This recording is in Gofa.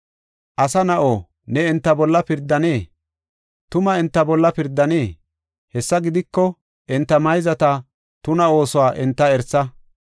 “Asa na7a ne enta bolla pirdanee? Tuma enta bolla pirdanee? Hessa gidiko, enta mayzata tuna oosuwa enta erisa.